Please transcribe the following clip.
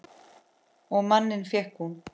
Og manninn fékk hún.